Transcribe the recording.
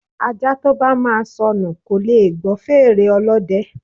Ajá to bá máa sọnù kò leè gbọ́ fèrè ọlọ́dẹ